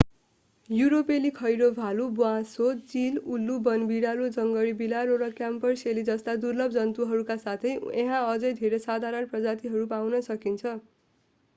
युरोपेली खैरो भालु ब्वाँसो चील उल्लु वनबिरालो जङ्गली बिरालो र क्यापरसेली जस्ता दुर्लभ जन्तुहरूका साथै यहाँ अझै धेरै साधारण प्रजातिहरू पाउन सकिन्छ